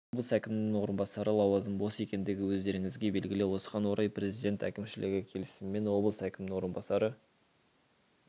облыс әкімінің орынбасары лауазымы бос екендігі өздеріңізге белгілі осыған орай президент әкімшілігі келісімімен облыс әкімінің орынбасары